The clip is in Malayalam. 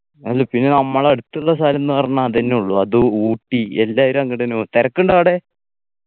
അല്ല പിന്നെ നമ്മളടുത്ത്ള്ള സ്ഥലംന്ന് പറഞ്ഞാ അതെന്നെ ഉള്ളു അത് ഊട്ടി എല്ലാരും അങ്ങട് എന്നെ പോവുന്ന് തിരക്ക്ണ്ട്റാ അവിടെ